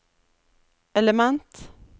element